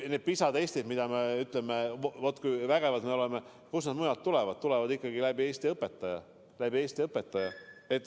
Need PISA-testid, mille põhjal me ütleme, et vot kui vägevad me oleme – kust mujalt need ikka tulevad, kui mitte läbi Eesti õpetaja.